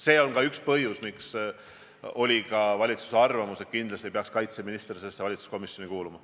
See on ka üks põhjus, miks valitsus arvas, et kindlasti peaks kaitseminister sellesse valitsuskomisjoni kuuluma.